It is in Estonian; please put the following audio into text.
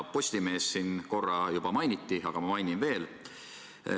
Postimeest siin korra juba mainiti, aga ma mainin veel.